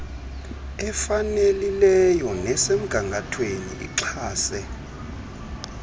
efanelileyo nesemgangathweni ixhase